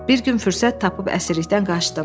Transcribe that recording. Bir gün fürsət tapıb əsirlikdən qaçdım.